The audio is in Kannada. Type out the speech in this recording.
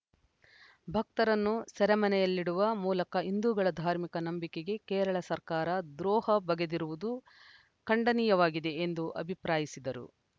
ಭಕ್ತರನ್ನು ಸೆರೆಮನೆಯಲ್ಲಿಡುವ ಮೂಲಕ ಹಿಂದೂಗಳ ಧಾರ್ಮಿಕ ನಂಬಿಕೆಗೆ ಕೇರಳ ಸರ್ಕಾರ ದ್ರೋಹ ಬಗೆದಿರುವುದು ಖಂಡನೀಯವಾಗಿದೆ ಎಂದು ಅಭಿಪ್ರಾಯಿಸಿದರು